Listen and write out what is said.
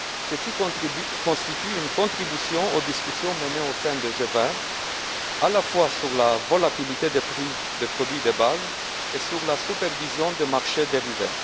Ceci constitue une contribution aux discussions menées au sein du G20, à la fois sur la volatilité des prix des produits de base et sur la supervision des marchés dérivés.